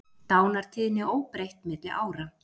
Dánartíðni óbreytt milli ára